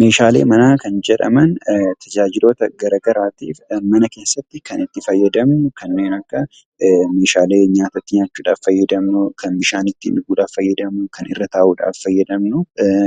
Meeshaalee manaa kan jedhaman tajaajiloota garaagaraatiif kan mana keessatti itti fayyadamnu kanneen akka oomishaalee nyaata itti nyaachuudhaaf itti fayyadamnuu, kan akka bishaan itti dhuguuf fayyadamnu, kan irra taa'uudhaaf fayyadamnu